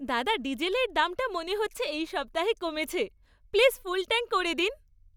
দাদা, ডিজেলের দামটা মনে হচ্ছে এই সপ্তাহে কমেছে। প্লিজ ফুল ট্যাঙ্ক করে দিন।